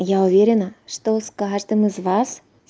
я уверена что с каждым из вас